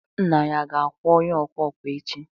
nna ya ga-akwụ onye ọkwa ọkwa echi?